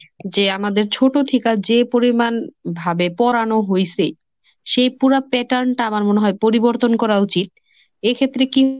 যে আমাদের ছোট থেকে যে পরিমান ভাবে পড়ানো হইছে. সেই পুরা pattern টা আমার মনে হয় পরিবর্তন করা উচিত। এক্ষেত্রে কি